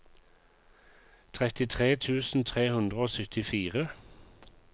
trettitre tusen tre hundre og syttifire